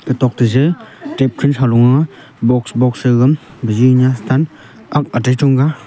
gatok teh jaja kehpriint halong ahh box box chagan bajinyah stun aak atai chonggah.